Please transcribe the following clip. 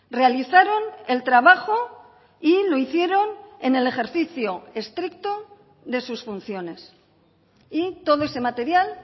realizaron el trabajo y lo hicieron en el ejercicio estricto de sus funciones y todo ese material